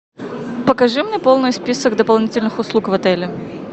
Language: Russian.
покажи мне полный список дополнительных услуг в отеле